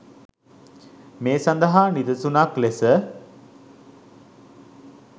මේ සඳහා නිදසුනක් ලෙස